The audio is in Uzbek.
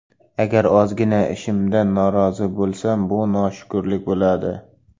Agar ozgina ishimdan norizo bo‘lsam bu noshukurlik bo‘ladi.